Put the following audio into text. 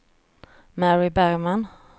Mary Bergman